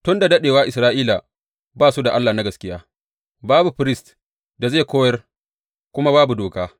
Tun da daɗewa Isra’ila ba su da Allah na gaskiya, babu firist da zai koyar, kuma babu doka.